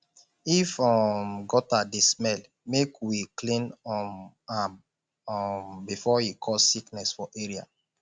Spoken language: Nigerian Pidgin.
if um gutter dey smell make we clean um am um before e cause sickness for area